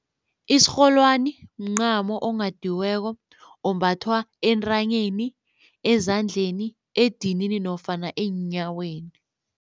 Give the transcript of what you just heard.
Isirholwani mncamo onghadiweko ombathwa entranyeni, ezandleni, edinini nofana eenyaweni.